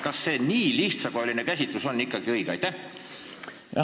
Kas nii lihtsakoeline käsitlus on ikka õige?